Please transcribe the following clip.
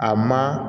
A ma